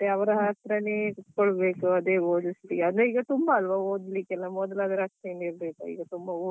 ಮತ್ತೆ ಅವ್ರ ಹತ್ರನೇ ಕುತ್ಕೊಬೇಕು ಅದೇ ಓದಿಸಿ ಅದೇ ಈಗ ತುಂಬಾ ಅಲ್ವಾ ಓದ್ಲಿಕ್ಕೆಲ್ಲ ಮೊದಲು ಆದ್ರೆ ಅಷ್ಟೇನೂ ಇರ್ಲಿಲ್ಲಈಗ ತುಂಬಾ ಓದ್ಲಿಕ್.